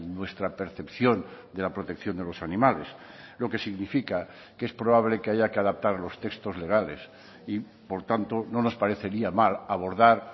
nuestra percepción de la protección de los animales lo que significa que es probable que haya que adaptar los textos legales y por tanto no nos parecería mal abordar